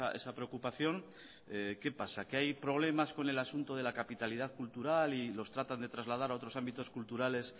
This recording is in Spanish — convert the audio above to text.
esa preocupación qué pasa que hay problemas con el asunto de la capitalidad cultural y los tratan de trasladar a otros ámbitos culturales